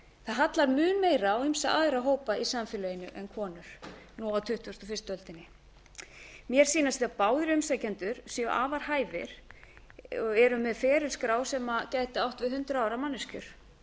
það hallar mun meira á ýmsa aðra hópa í samfélaginu en konur nú á tuttugustu og fyrstu öldinni mér sýnist sem báðir umsækjendur séu afar hæfir og eru með ferilskrár sem gætu átt við hundrað ára manneskjur